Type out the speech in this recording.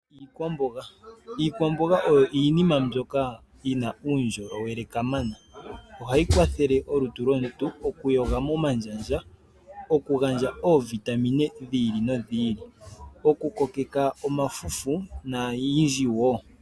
Iikwambonga, iikwambonga oyo iinima ndjoka yina uundjolowele kamana nohayi kwathele molutu lwomuntu okuyoga momandjandja, okugandja oovitamine dhiili no dhiili, okukoleka omafufu nayilwe oyindji woo.